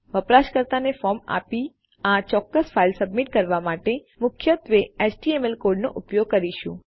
આપણે વપરાશકર્તાને ફોર્મ આપી આ ચોક્કસ ફાઈલ સબમિટ કરવા માટે મુખ્યત્વે એચટીએમએલ કોડ નો ઉપયોગ કરીશું